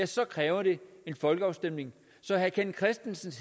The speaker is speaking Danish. så kræver det en folkeafstemning så herre kenneth kristensen